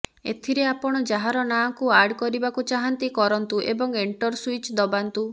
ଏଥିରେ ଆପଣ ଯାହାର ନାଁ କୁ ଆଡ୍ କରିବାକୁ ଚାହାଁନ୍ତି କରନ୍ତୁ ଏବଂ ଏଣ୍ଟର ସ୍ୱିଚ୍ ଦବାନ୍ତୁ